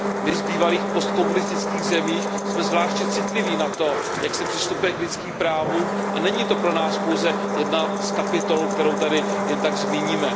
My z bývalých postkomunistických zemí jsme zvláště citliví na to, jak se přistupuje k lidským právům, a není to pro nás pouze jedna z kapitol, kterou tady jen tak zmíníme.